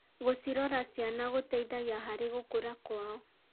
Gũcirora ciana gũteithagia harĩ gũkũra kwao.